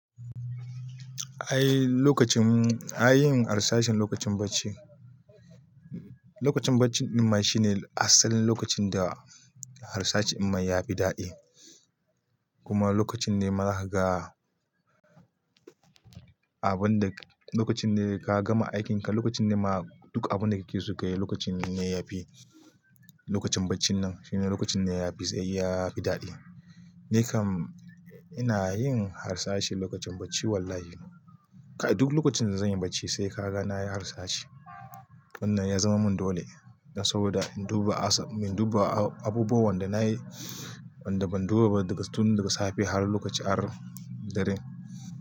Ai lokacin ai yin harsashin lokacin bacci lokacin baccinma shine asalin lokacin da harsashin dinma yafi dadi kuma lokacin ne ma zakaga, abun da lokacin ne ka gama aikinka, lokacin ne ma duk abun da kike so ka yi lokacin ne na yafi. Lokacin baccinnan shine lokacin ne yafi tsayi ya fi daɗi. Ni kam ina yin harsashi lokacin bacci wallahi. Kai duk lokacin da zanyi bacci sai ka ga nayi harsashi. Wannan ya zama mun dole. Saboda in duba aso, in duba abubuwan da nayi, wanda ban duba ba daga tun daga safe har lokaci har dare.